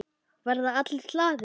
Verða allir glaðir?